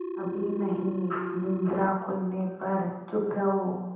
अभी नहीं निद्रा खुलने पर चुप रहो